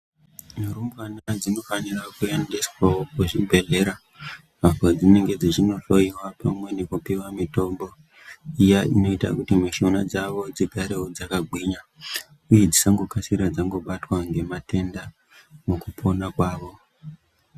Ndumurwe dzinofana kuendeswawo kuzvibhedhlera apo padzinenge dzeindohloiwa pamwe nekupiwa mutombo iya inoita kuti mishuna dzavo dzigare dzakagwinya uye kuti dzisakasira dzabatwa nematenda mukupona kwawo.